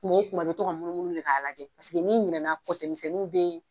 Tuma o tuma i bɛ to ka munumunu de k'a lajɛ n'i ɲinɛn'a kɔ kɔtɛmisɛnninw bɛ